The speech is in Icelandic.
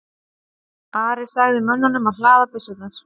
Ari sagði mönnunum að hlaða byssurnar.